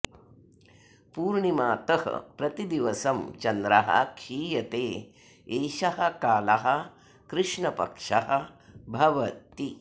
पूर्णिमातः प्रतिदिवसं चन्द्रः क्षीयते एषः कालः कृष्णपक्षः भवति